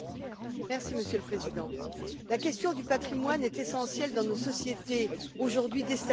Monsieur le Président, la question du patrimoine est essentielle dans nos sociétés aujourd'hui déstabilisées.